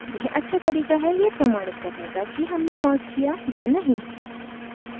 यह अच्छा तरीका है यह प्रमाणित करने का कि हमने merged किया या नहीं